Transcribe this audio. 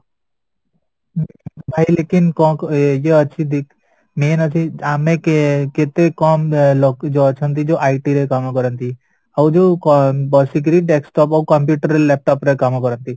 ଭାଇ କଣ ଏଇଆ ଅଛି main ଅଛି ଆମେ କେତେ କମ ଲୋକ ଯୋଉଁ ଅଛନ୍ତି ଯୋଉ ରେ IT କାମ କରନ୍ତି ଆଉ ଯୋଉ ବସିକିରି desktop ଆଉ computer laptop ରେ କାମ କରନ୍ତି